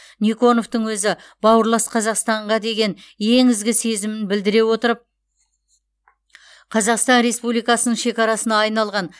никоновтың өзі бауырлас қазақстанға деген ең ізгі сезімін білдіре отырып қазақстан республикасының шекарасына айналған